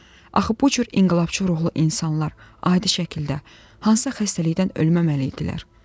Axı bu cür inqilabçı ruhlu insanlar adi şəkildə hansısa xəstəlikdən ölməməli idilər.